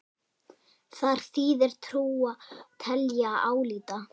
Þar þýðir trúa: telja, álíta.